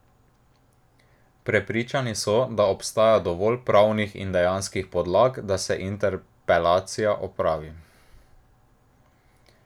Prepričani so, da obstaja dovolj pravnih in dejanskih podlag, da se interpelacija opravi.